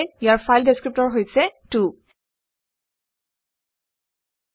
ইয়াৰ file descriptor হৈছে 2